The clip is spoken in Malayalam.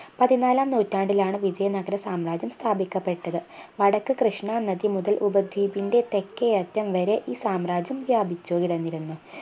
പതിനാലാം നൂറ്റാണ്ടിലാണ് വിജയ നഗരസാമ്രാജ്യം സ്ഥാപിക്കപ്പെട്ടത് വടക്ക് കൃഷ്ണ നദി മുതൽ ഉപദ്വീപിൻറെ തെക്കേയറ്റം വരെ ഈ സാമ്രാജ്യം വ്യാപിച്ചു കിടന്നിരുന്നു